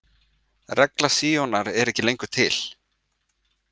Regla Síonar er ekki lengur til.